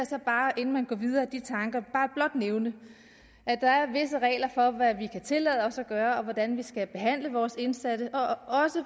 så bare inden man går videre med de tanker blot nævne at der er visse regler for hvad vi kan tillade os at gøre og hvordan vi skal behandle vores indsatte og også